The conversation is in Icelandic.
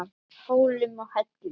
Hólum og hellum.